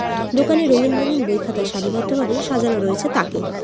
দোকানে রঙিন রঙিন বই খাতা সারিবদ্ধভাবে সাজানো রয়েছে তাকে।